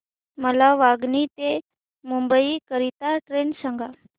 मला वांगणी ते मुंबई करीता ट्रेन सांगा